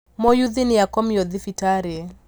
Mũyuthi nĩakomio thibitarĩ